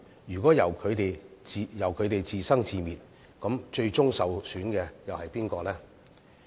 如果任由他們自生自滅，最終受損的又是誰呢？